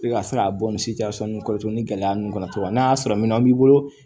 I bɛ ka se ka bɔ nin nin kɔrɔtɛ ni gɛlɛya ninnu kɔni kɔnɔ cogo min n'a y'a sɔrɔ minɛnw b'i bolo